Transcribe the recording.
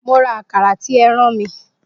Mo ra Àkàrà tí ẹ rán mi